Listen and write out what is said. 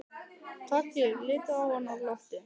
Toggi litu á hann og glottu.